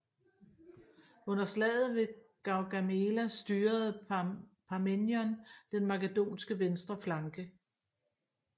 Under slaget ved Gaugamela styrede Parmenion den makedonske venstre flanke